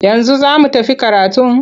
Yanzu za mu tafi karatun?